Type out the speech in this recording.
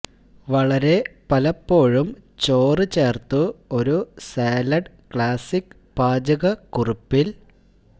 വളരെ പലപ്പോഴും ചോറ് ചേർത്തു ഒരു സാലഡ് ക്ലാസിക് പാചകക്കുറിപ്പ് ൽ